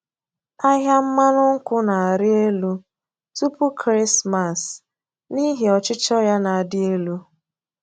Ahịa mmanụ nkwụ na-arị elu tupu Kraịstmas n’ihi ọchịchọ ya na-adị elu.